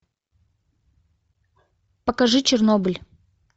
покажи чернобыль